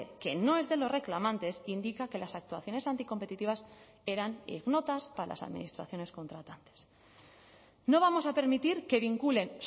que no es de los reclamantes indica que las actuaciones anticompetitivas eran ignotas para las administraciones contratantes no vamos a permitir que vinculen